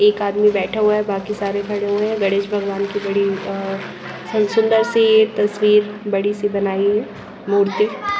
एक आदमी बैठा हुआ है बाकी सारे खड़े हुए हैं गणेश भगवान की बड़ी अ सुंदर सी यह तस्वीर बड़ी सी बनाई है मूर्ति।